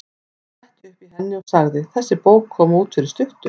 Ég fletti upp í henni og sagði: Þessi bók kom út fyrir stuttu.